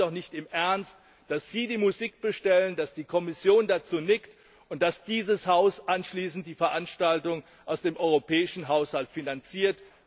Sie glauben doch nicht im Ernst, dass Sie die Musik bestellen, dass die Kommission dazu nickt und dass dieses Haus anschließend die Veranstaltung aus dem europäischen Haushalt finanziert.